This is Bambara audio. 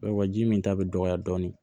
Wa ji min ta bɛ dɔgɔya dɔɔnin